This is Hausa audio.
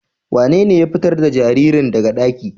Wanene ya fitar da jaririn daga ɗaki?